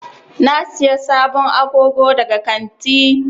Na Siya sabon agogo daga kantin.